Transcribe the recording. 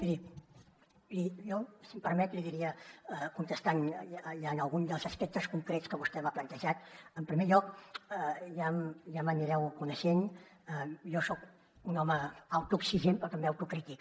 miri jo si em permet li diria contestant algun dels aspectes concrets que vostè m’ha plantejat en primer lloc ja m’anireu coneixent jo soc un home autoexigent però també autocrític